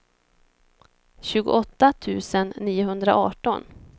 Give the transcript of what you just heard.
tjugoåtta tusen niohundraarton